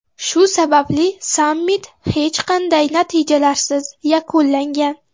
Shu sababli sammit hech qanday natijalarsiz yakunlangan.